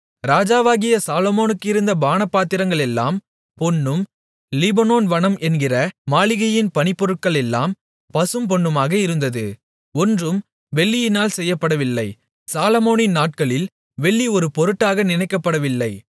ராஜாவாகிய சாலோமோனுக்கு இருந்த பானபாத்திரங்களெல்லாம் பொன்னும் லீபனோன் வனம் என்கிற மாளிகையின் பணிப்பொருட்களெல்லாம் பசும்பொன்னுமாக இருந்தது ஒன்றும் வெள்ளியினால் செய்யப்படவில்லை சாலொமோனின் நாட்களில் வெள்ளி ஒரு பொருட்டாக நினைக்கப்படவில்லை